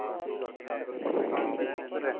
ਕੀ ਚੱਕਰ ਏ